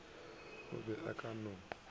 o be a ka no